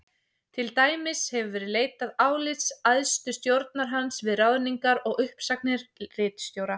Til dæmis hefur verið leitað álits æðstu stjórnar hans við ráðningar og uppsagnir ritstjóra.